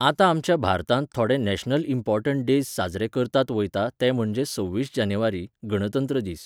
आता आमच्या भारतांत थोडे नॅशनल इंम्पॉरटन्ट डेज्स साजरे करतात वयता ते म्हणजे सव्वीस जानेवारी, गणतंत्र दीस.